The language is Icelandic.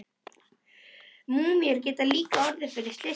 Múmíur geta líka orðið til fyrir slysni.